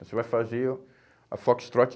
Você vai fazer a Foxtrot.